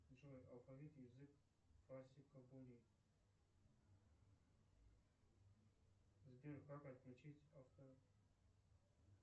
джой алфавит язык сбер как отключить авто